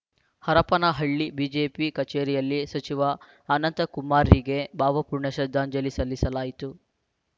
Harapanahalli BJP ಕಚೇರಿಯಲ್ಲಿ ಸಚಿವ ಅನಂತಕುಮಾರ್‌ರಿಗೆ ಭಾವಪೂರ್ಣ ಶ್ರದ್ದಾಂಜಲಿ ಸಲ್ಲಿಸಲಾಯಿತು